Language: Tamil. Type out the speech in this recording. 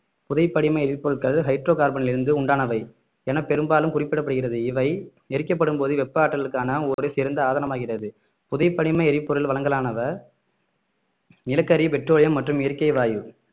புதை படிமை எரிபொருள்கள் ஹைட்ரோகார்பனிலிருந்து உண்டானவை என பெரும்பாலும் குறிப்பிடப்படுகிறது இவை எரிக்கப்படும்போது வெப்ப ஆற்றலுக்கான ஒரு சிறந்த ஆதாரமாகிறது புதை படிமை எரிபொருள் வளங்களாவன நிலக்கரி பெட்ரோலியம் மற்றும் இயற்கை வாயு